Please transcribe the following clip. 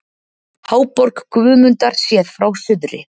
Háborg Guðmundar séð frá suðri.